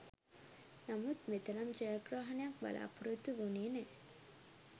නමුත් මෙතරම් ජයග්‍රහණයක් බලා‍පොරොත්තු වුණේ නෑ.